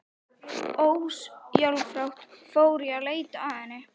Ósjálfrátt fór ég að leita að henni.